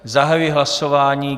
Zahajuji hlasování.